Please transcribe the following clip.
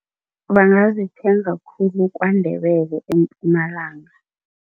Bangazithenga khulu KwaNdebele eMpumalanga.